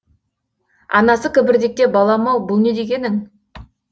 анасы кібіртіктеп балам ау бұл не дегенің